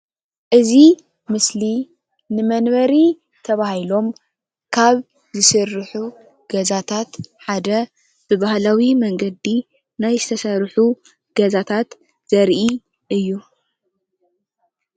እዚ ምስሊ ንመንበሪ ተባሂሎም ካብ ዝስርሑ ገዛታት ሓደ ብባህላዊ መንገዲ ናይ ዝተሰርሑ ገዛታታት ዘርኢ እዩ፡፡